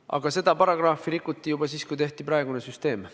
Aga seda paragrahvi rikuti juba siis, kui tehti praegune süsteem.